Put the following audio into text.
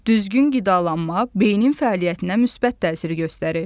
Düzgün qidalanma beynin fəaliyyətinə müsbət təsir göstərir.